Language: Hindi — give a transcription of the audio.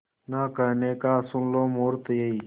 ना कहने का सुन लो मुहूर्त यही